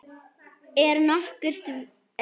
Er nokkurt vit í þessu?